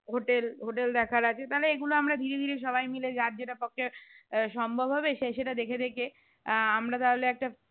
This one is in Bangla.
hotel hotel দেখার আছে তাহলে এইগুলো আমরা ধীরে ধীরে সবাই মিলে যার যেটা পক্ষে আহ সম্ভব হবে সেই সেটা দেখে দেখে আহ আমরা তাহলে একটা